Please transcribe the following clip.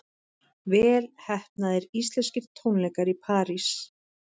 Vel heppnaðir íslenskir tónleikar í París